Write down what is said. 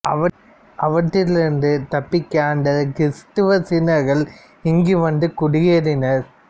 அவற்றில் இருந்து தப்பிக்க அந்தக் கிறிஸ்துவச் சீனர்கள் இங்கு வந்து குடியேறினர்